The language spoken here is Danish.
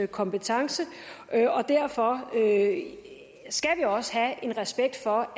kompetence og derfor skal vi også have respekt for